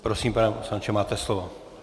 Prosím, pane poslanče, máte slovo.